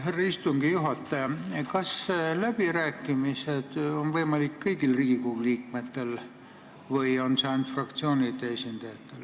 Härra istungi juhataja, kas läbi rääkida on võimalik kõigil Riigikogu liikmetel või ainult fraktsioonide esindajatel?